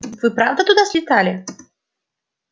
вы правда туда слетали